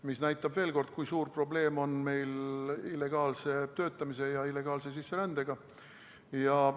See näitab veel kord, kui suur probleem on meil illegaalse töötamise ja illegaalse sisserändega.